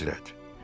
Əlahəzrət.